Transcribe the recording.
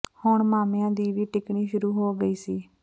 ਹੁਣ ਮਾਮਿਆਂ ਦੀ ਵੀ ਟਿਕਣੀ ਸ਼ੁਰੂ ਹੋ ਗਈ ਸੀ